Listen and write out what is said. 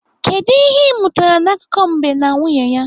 Kedụ ihe ị mụtara n'akụkọ mbe na nwunye ya?